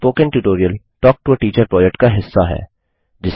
spoken tutorial talk to a teacher project का हिस्सा है